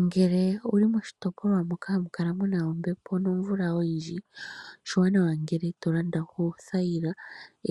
Ngele owu li moshitopolwa moka hamu kala muna ombepo nomvula oyindji, oshiwanawa ngele to landa oothayila